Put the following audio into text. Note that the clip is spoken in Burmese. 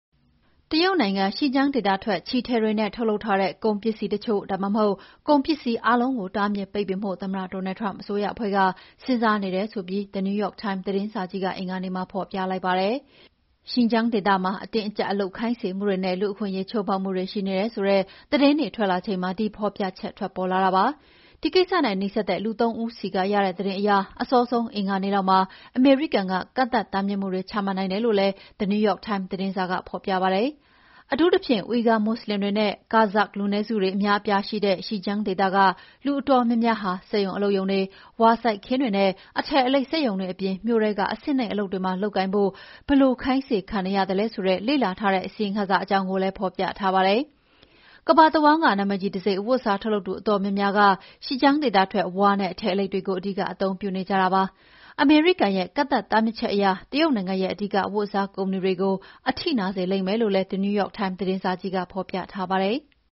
တရုတ်နိုင်ငံ Xinjiang ဒေသထွက် ချည်ထည်တွေနဲ့ ထုတ်လုပ်ထားတဲ့ ကုန်ပစ္စည်းတချို့ ဒါမှအဟုတ် ကုန်ပစ္စည်းအားလုံးကို တားမြစ်ပိတ်ပင်ဖို့ သမ္မတ Donald Trump အစိုးရအဖွဲ့က စဉ်းစားနေတယ်ဆိုပြီး The New York Times သတင်းစာကြီးက အင်္ဂါနေ့မှာဖော်ပြလိုက်ပါတယ်။ Xinjiang ဒေသမှာ အတင်းအကြပ်အလုပ်ခိုင်းစေမှုတွေနဲ့ လူ့အခွင့်အရေး ချိုးဖောက်မှုတွေရှိနေတယ်ဆိုတဲ့ သတင်းတွေထွက်လာချိန်မှာ ဒီဖော်ပြချက်ထွက်ပေါ်လာတာပါ။ ဒီကိစ္စနဲ့ နီးစပ်တဲ့ လူ သုံး ဦးဆီက ရတဲ့သတင်းအရ အစောဆုံး အင်္ဂါနေ့လောက်မှာ အမေရိကန်က ကန့်သတ်မှုတွေ ချမှတ်နိုင်တယ်လို့လည်း The New York Times သတင်းစာက ဖော်ပြပါတယ်။ အထူးသဖြင့် Uighur မွတ်ဆလင်တွေနဲ့ Kazakh လူနည်းစုတွေ အများအပြားရှိတဲ့ Xinjiang ဒေသက လူအတော်များများဟာ စက်ရုံအလုပ်ရုံတွေ၊ ဝါစိုက်ခင်းတွေနဲ့ အထည်အလိပ် စက်ရုံတွေအပြင် မြို့ထဲက အဆင့်နိမ့်အလုပ်တွေမှာ လုပ်ကိုင်ဖို့ ဘယ်လို ခိုင်းစေခံနေရသလဲဆိုတာ လေ့လာထားတဲ့ အစီရင်ခံစာအကြောင်းကိုလည်း ဖော်ပြထားပါတယ်။ ကမ္ဘာတဝန်းက နာမည်ကြီးတံဆိပ် အဝတ်အစား ထုတ်လုပ်သူအတော်များများက Xinjiang ဒေသထွက် ဝါနဲ့ အထည်အလိပ်တွေကို အဓိက အသုံးပြုနေကြတာဖြစ်ပါတယ်။ အမေရိကန်ရဲ့ ကန့်သတ်တားမြစ်ချက်က တရုတ်နိုင်ငံရဲ့ အဓိက အဝတ်အစား ကုမ္ပဏီတွေကို အထိနာစေလိမ့်မယ်လို့လည်း The New York Times သတင်းစာကြီးမှာ ဖော်ပြထားပါတယ်။